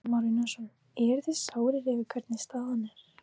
Kristján Már Unnarsson: Eruð þið sárir yfir hvernig staðan er?